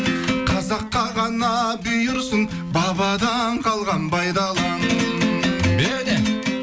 қазаққа ғана бұйырсын бабадан қалған бай далам беу де